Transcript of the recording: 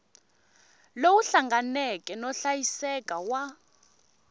lowu hlanganeke no hlayiseka wa